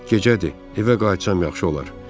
Gecədir, evə qayıtsam yaxşı olar.